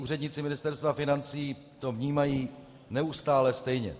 Úředníci Ministerstva financí to vnímají neustále stejně.